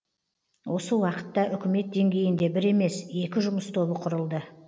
осы уақытта үкімет деңгейінде бір емес екі жұмыс тобы құрылды